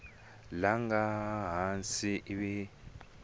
nga laha hansi ivi u